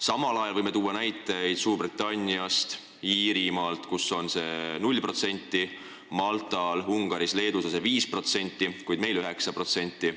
Samal ajal võime tuua näiteid Suurbritanniast ja Iirimaalt, kus see on 0%, Maltal, Ungaris ja Leedus on 5%, kuid meil on 9%.